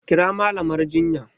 Kira Mallamar jinya!